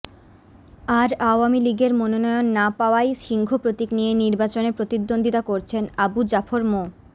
আর আওয়ামী লীগের মনোনয়ন না পাওয়ায় সিংহ প্রতীক নিয়ে নির্বাচনে প্রতিদ্বন্দ্বীতা করছেন আবু জাফর মো